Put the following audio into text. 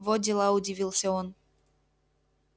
во дела удивился он